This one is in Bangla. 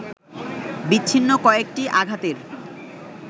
বিচ্ছিন্ন কয়েকটি আঘাতের